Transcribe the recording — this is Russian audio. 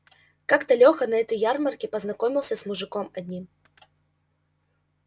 как-то лёха на этой ярмарке познакомился с мужиком одним